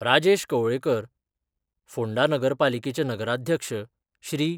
राजेश कवळेकर, फोंडा नगरपालिकेचे नगराध्यक्ष श्री.